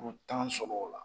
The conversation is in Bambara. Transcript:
U tan sɔmɔgow la.